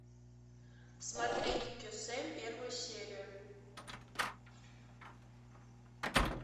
смотреть кесем первую серию